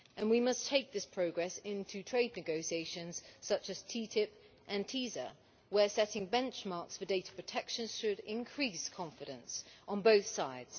We must take this progress into trade negotiations such as TTIP and TISA, where setting benchmarks for data protection should increase confidence on both sides.